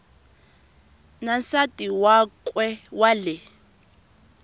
na nsati wakwe wa le